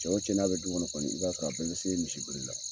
Cɛ o cɛ n'a bɛ du kɔnɔ kɔni, i b'a sɔrɔ a bɛɛ bɛ se misi biri la.